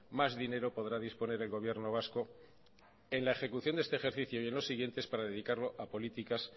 más dinero podrá disponer el gobierno vasco en la ejecución de este ejercicio y en los siguientes para dedicarlo a políticas